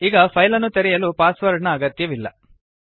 ಈಗ ಫೈಲ್ ಅನ್ನು ತೆರೆಯಲು ಪಾಸ್ ವರ್ಡ್ ನ ಅಗತ್ಯವಿಲ್ಲ